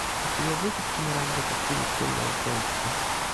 у тебя будет киноработа в стиле темного фэнтези